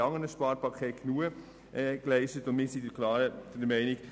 Auch in anderen Sparpaketen hat sie bereits genügend geleistet.